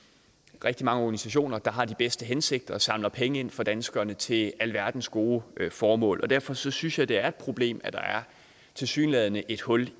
rigtig mange organisationer der har de bedste hensigter og samler penge ind for danskerne til alverdens gode formål derfor synes synes jeg det er et problem at der tilsyneladende er et hul